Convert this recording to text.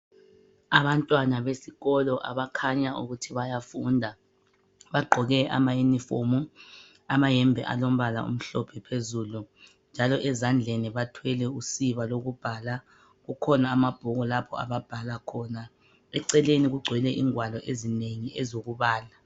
Abantwana besikolo abakhanya ukuthi bayafunda bagqoke amauniformu amayembe alombala olumhlophe phezulu njalo ezandleni bathwele usiba lokubhala kukhona ababuku lapho ababhala khona eceleni kugcwele ingwalo ezinengi ezokubala